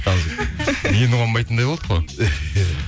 қалжың енді қонбайтындай болдық қой